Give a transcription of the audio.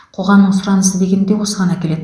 қоғамның сұранысы деген де осыған әкеледі